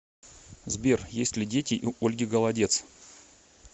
сбер есть ли дети у ольги голодец